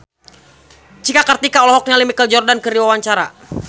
Cika Kartika olohok ningali Michael Jordan keur diwawancara